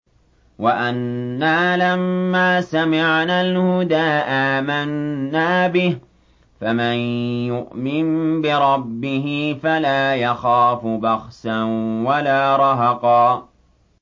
وَأَنَّا لَمَّا سَمِعْنَا الْهُدَىٰ آمَنَّا بِهِ ۖ فَمَن يُؤْمِن بِرَبِّهِ فَلَا يَخَافُ بَخْسًا وَلَا رَهَقًا